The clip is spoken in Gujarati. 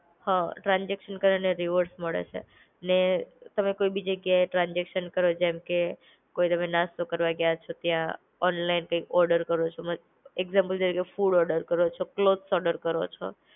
હા ટ્રાન્સઝેકશન કરે એને રિવોર્ડ મળે છે. ને તમે કોઈ બી જગ્યા ટ્રાન્સઝેકશન કરો જેમ કે, કોઈ તમે નાસ્તો કરવા ગયા છો ત્યાં, ઓનલાઇન કૈક ઓર્ડર કરો તમે, એક્ઝામ્પલ જ્યાં ફૂડ ઓર્ડર કરો છો ક્લોથ્સ ઓર્ડર કરો છો.